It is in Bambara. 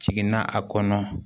Jiginna a kɔnɔ